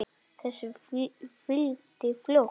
Þessu fylgdi fljótt önnur frétt